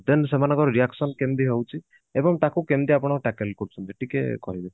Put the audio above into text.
then ସେମାନଙ୍କର reaction କେମତି ହଉଛି ଏବଂ ତାକୁ କେମତି ଆପଣ tackle କରୁଛନ୍ତି ଟିକେ କହିବେ